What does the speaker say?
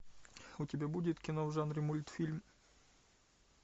у тебя будет кино в жанре мультфильм